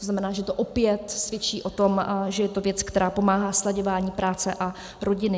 To znamená, že to opět svědčí o tom, že je to věc, která pomáhá slaďování práce a rodiny.